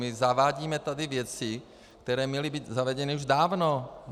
My zavádíme tady věci, které měly být zavedeny už dávno!